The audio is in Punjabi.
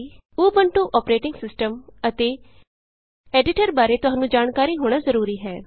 ਊਬੰਤੂ ਅੋਪਰੇਟਿੰਗ ਸਿਸਟਮ ਅਤੇ ਐਡੀਟਰ ਬਾਰੇ ਤੁਹਾਨੂੰ ਜਾਣਕਾਰੀ ਹੋਣਾ ਜਰੂਰੀ ਹੈ